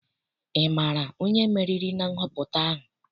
Ị maara onye meriri na nhọpụta ahụ?